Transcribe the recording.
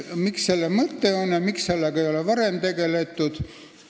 Mis selle mõte on ja miks sellega ei ole varem tegeldud?